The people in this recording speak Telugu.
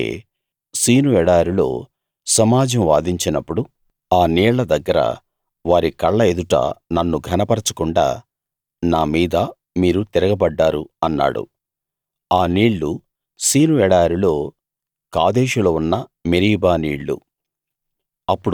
ఎందుకంటే సీను ఎడారిలో సమాజం వాదించినప్పుడు ఆ నీళ్ల దగ్గర వారి కళ్ళ ఎదుట నన్ను ఘనపరచకుండా నా మీద మీరు తిరగబడ్డారు అన్నాడు ఆ నీళ్లు సీను ఎడారిలో కాదేషులో ఉన్న మెరీబా నీళ్ళు